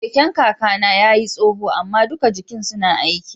Keken kaka na ya yi tsoho ama dukan jikin suna aiki.